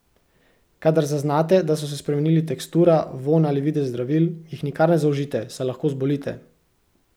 Kadar zaznate, da so se spremenili tekstura, vonj ali videz zdravil, jih nikar ne zaužijte, saj lahko zbolite.